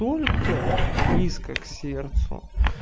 только близко к сердцу